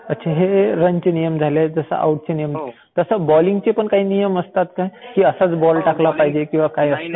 अच्छा हे रन चे नियम झाले जसं आऊटचे नियम असतात. तसं बॉलिंगचे पण काही नियम असतात का? की असाच बॉल टाकला पाहिजे किंवा काही असं?